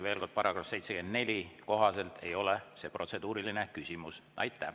Veel kord, § 74 kohaselt ei ole see protseduuriline küsimus.